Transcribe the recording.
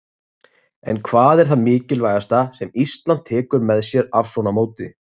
En hvað er það mikilvægasta sem Ísland tekur með sér af svona móti?